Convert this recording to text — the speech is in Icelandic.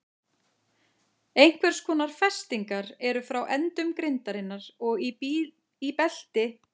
Einhvers konar festingar eru frá endum grindarinnar og í belti sem er um mitti mannsins.